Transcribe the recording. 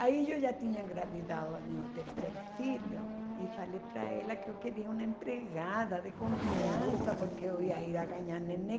Aí eu já tinha engravidado meu terceiro filho e falei para ela que eu queria uma empregada de confiança porque eu ia ir a ganhar neném.